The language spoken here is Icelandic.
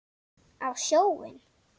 Á sjóinn?